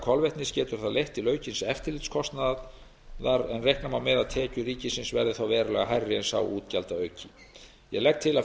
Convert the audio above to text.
kolvetnis getur það leitt til aukins eftirlitskostnaðar en reikna má með að tekjur ríkisins verði þá verulega hærri en sá útgjaldaauki ég legg til að